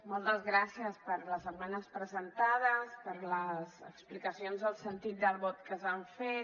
moltes gràcies per les esmenes presentades per les explicacions del sentit del vot que s’han fet